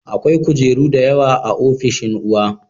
Akwai kujeru da yawa a ofishin uwa